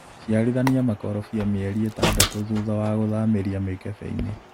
ciarithania makorobia mĩeri ĩtadatũ thutha wa gũthamĩria mĩkebeinĩ.